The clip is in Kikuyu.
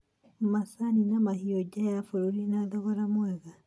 macani, na mahũa nja ya bũrũri na thogora mwega,